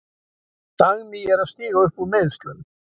Dagný er að stíga upp úr meiðslum.